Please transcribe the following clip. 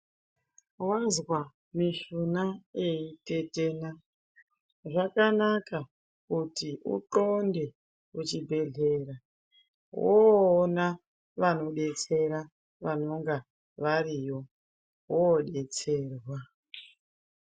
Wazwa mishuna yei tetena zvakanaka kuti u ndxonde ku chibhedhleya woona vano detsera vanonge variyo woo detserwa.